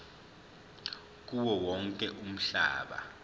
kuwo wonke umhlaba